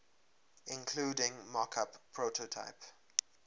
including mockup prototype